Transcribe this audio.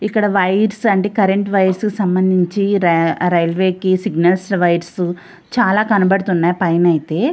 ఇక్కడ వైర్స్ అండి current wires సంబంధించి రైల్వే కి సిగ్నల్ల చాల కనపడుతున్నాయి పైన అయితే.